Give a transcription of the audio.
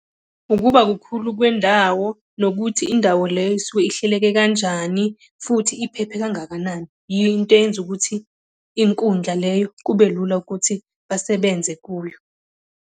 Ukuba kukhulu kwendawo, nokuthi indawo leyo isuke ihleleke kanjani, futhi iphephe kangakanani. Yiyo into eyenza ukuthi inkundla leyo kube lula ukuthi basebenze kuyo.